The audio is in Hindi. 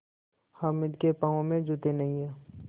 हामिद के पाँव में जूते नहीं हैं